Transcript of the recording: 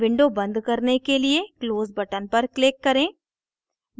window बंद करने के लिए close button पर click करें